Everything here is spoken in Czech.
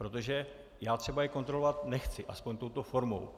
Protože já třeba je kontrolovat nechci, aspoň touto formou.